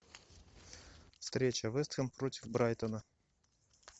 встреча вест хэм против брайтона